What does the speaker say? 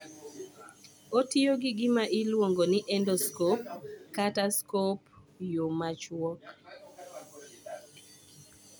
Otiyo gi gima iluongo ni endoscope kata scope e yo ma chuok